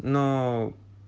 но